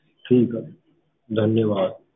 ਠੀਕ ਆ, ਧੰਨਵਾਦ।